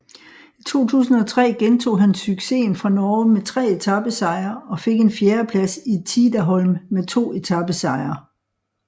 I 2003 gentog han successen fra Norge med tre etapesejre og fik en fjerdeplads i Tidaholm med to etapesejre